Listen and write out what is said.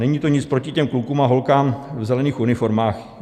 Není to nic proti těm klukům a holkám v zelených uniformách.